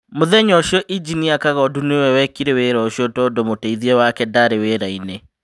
Mũthenya ũcio, Injinia kagondu nĩwe wekire wĩra ũcio tondũ mũteithia wake ndaarĩ wĩra-inĩ".